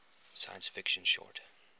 science fiction short